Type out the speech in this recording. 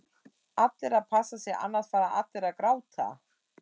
Allir að passa sig annars fara allir að gráta??